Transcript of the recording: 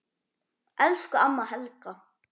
Elsku amma Helga.